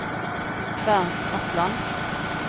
Bernt Bratland